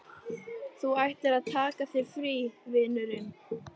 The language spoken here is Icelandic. Þú ættir að taka þér frí, vinurinn.